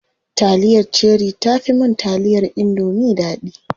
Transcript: Taliyar cherie tafi mun taliyar indomie daɗi.